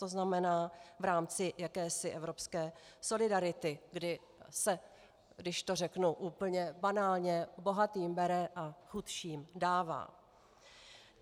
To znamená v rámci jakési evropské solidarity, kdy se, když to řeknu úplně banálně, bohatým bere a chudším dává.